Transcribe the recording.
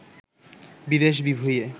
বিদেশ-বিভূঁইয়ে